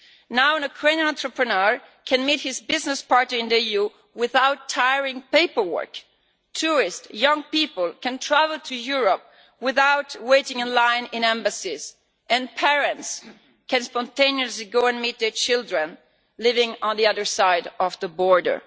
Now a Ukrainian entrepreneur can meet his business partner in the EU without tiring paperwork. Tourists, young people, can travel to Europe without waiting in line in embassies, and parents can spontaneously go and meet their children living on the other side of the border.